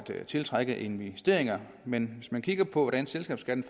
tiltrække investeringer men hvis man kigger på hvordan selskabsskatten